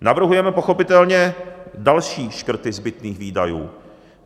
Navrhujeme pochopitelně další škrty zbytných výdajů.